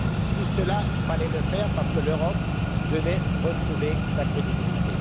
Tout cela, il fallait le faire parce que l'Europe devait retrouver sa crédibilité.